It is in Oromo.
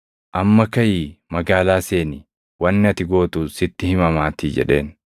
Amma kaʼii magaalaa seeni; wanni ati gootu sitti himamaatii” jedheen.